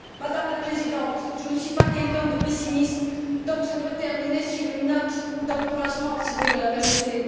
Madame la Présidente, je ne suis pas quelqu'un de pessimiste, j'aimerais donc terminer sur une note d'encouragement, si vous me le permettez.